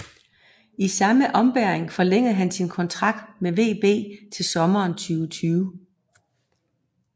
I samme ombæring forlængede han sin kontrakt med VB til sommeren 2020